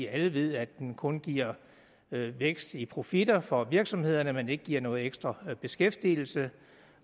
alle ved at den kun giver vækst i profitter for virksomhederne men ikke giver noget ekstra beskæftigelse